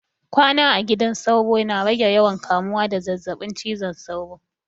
Kwana a gidan sauro na rage yawan kamuwa da zazzabin cizon sauro.